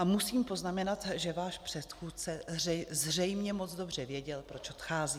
A musím poznamenat, že váš předchůdce zřejmě moc dobře věděl, proč odchází.